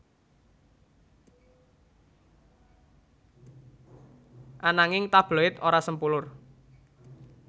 Ananging tabloid ora sempulur